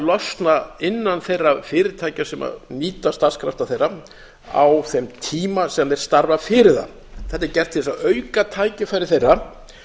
losna innan þeirra fyrirtækja sem nýta starfskrafta þeirra á þeim tíma sem þeir starfa fyrir það þetta er gert til þess að auka tækifæri þeirra